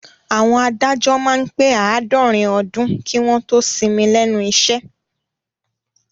Àwọn adájọ́ máá ń pè àádọ́rin ọdún kí wọ́n ó tó sinmi lẹ́nu iṣẹ́